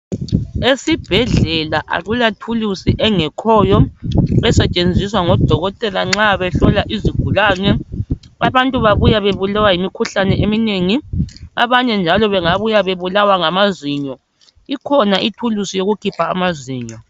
Esibhedlela akula thulusi engekhoyo esetshenziswa ngodokotela nxa behlola izigulane abantu babuya bebulawa yimkhuhlane eminengi abanye njalo bengabuya bebulawa ngamazinyo ikhona ithulusi yokukhipha amazinyo.